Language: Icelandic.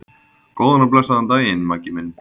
Góðan og blessaðan daginn, Maggi minn.